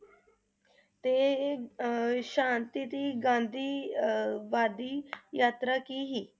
ਤੇ ਅਹ ਸ਼ਾਂਤੀ ਦੀ ਗਾਂਧੀ ਅਹ ਵਾਦੀ ਯਾਤਰਾ ਕੀ ਸੀ?